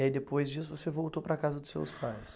E aí depois disso você voltou para a casa dos seus pais?